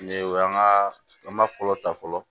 Ni o y'an ka an ba fɔlɔ ta fɔlɔ